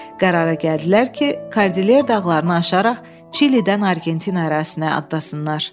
Qərara gəldilər ki, Kordiler dağlarını aşaraq Çilidən Argentina ərazisinə atlasınlar.